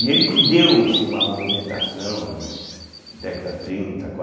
E ele que deu, assim, uma movimentação né, década trinta